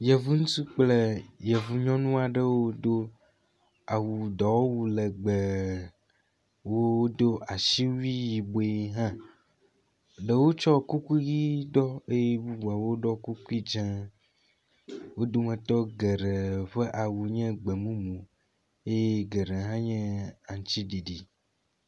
Yevu ŋutsu kple yevu nyɔnu aɖewo do awu dɔwɔwu legbẽ, wodo asiwui yibɔe hã. Ɖewo tsɔ kuku ʋi ɖɔ eye ɖewo hã ɖɔ kuku dzɛ̃. Wo dometɔ geɖe ƒe awu nye gbemumu eye geɖe hã nye aŋuti ɖiɖi.